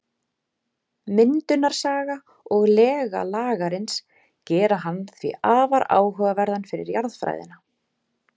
Myndunarsaga og lega Lagarins gera hann því afar áhugaverðan fyrir jarðfræðina.